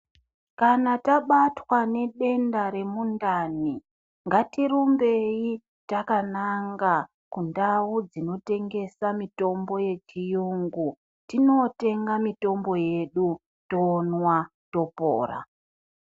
Kana tabatwa nedenda remundani, ngatirumbeyi takananga kundau dzinotengesa mitombo yechiyungu, tinotenga mitombo yedu, tonwa topora.